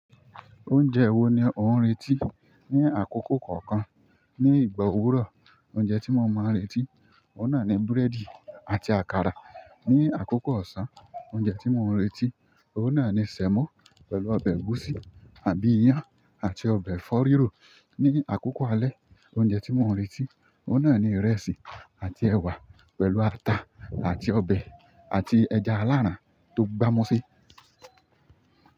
Oúnjẹ wo ni ò ń retí? Ni àkókò kọ̀ọ̀kan, ní ìgbà òwúrọ̀, oúnjẹ tí mo máa ń retí, ó náà ni búrẹ́dì àti àkàrà. Ni àkókò ọ̀sán, oúnjẹ tí mò ń retí, ó náà ni sẹ̀mọ́ pẹ̀lú ọbẹ̀ ẹ̀gúsí àbí iyán àti ọbẹ̀ ẹ̀fọ́ rírò. Ni àkókò alẹ́, oúnjẹ tí mò ń retí, ó náà ni ìrẹsì àti ẹ̀wà pẹ̀lú ata àti ọbẹ̀ àti ẹja aláràn tó gbámu se.